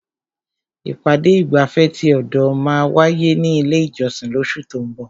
Ìpàdé ìgbafẹ́ ti ọ̀dọ̀ máa wáyé ní ilé ìjọsìn lóṣù tó ún bọ̀.